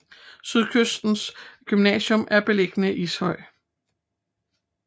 Sydkysten Gymnasium er beliggende i Ishøj